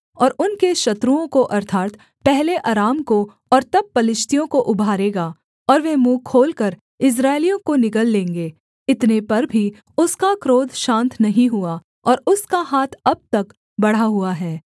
और उनके शत्रुओं को अर्थात् पहले अराम को और तब पलिश्तियों को उभारेगा और वे मुँह खोलकर इस्राएलियों को निगल लेंगे इतने पर भी उसका क्रोध शान्त नहीं हुआ और उसका हाथ अब तक बढ़ा हुआ है